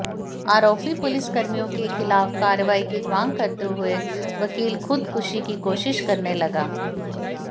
आरोपी पुलिसकर्मियों के खिलाफ कार्रवाई की मांग करते हुए वकील खुदकुशी की कोशिश करने लगा